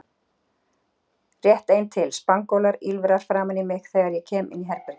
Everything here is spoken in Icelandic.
Rétt ein til: Spangólar, ýlfrar framan í mig þegar ég kem inn í herbergið